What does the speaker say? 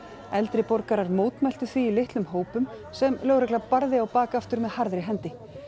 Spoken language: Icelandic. eldri borgarar mótmæltu því í litlum hópum sem lögregla barði á bak aftur með harðri hendi